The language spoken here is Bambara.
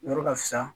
Yɔrɔ ka fisa